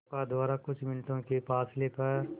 नौका द्वारा कुछ मिनटों के फासले पर